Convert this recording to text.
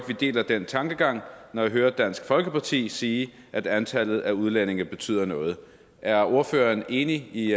vi deler den tankegang når jeg hører dansk folkeparti sige at antallet af udlændinge betyder noget er ordføreren enig i